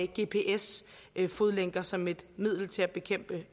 gps fodlænker som et middel til at bekæmpe